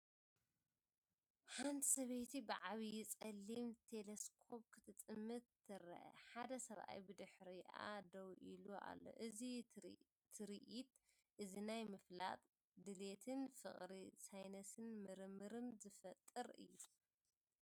ሓንቲ ሰበይቲ ብዓቢ ጸሊም ቴለስኮፕ ክትጥምት ትርአ። ሓደ ሰብኣይ ብድሕሪኣ ደው ኢሉ ኣሎ። እዚ ትርኢት እዚ ናይ ምፍላጥ ድሌትን ፍቕሪ ሳይንስን ምርምርን ዝፈጥር እዩ።